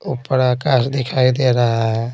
ऊपर आकाश दिखाई दे रहा है।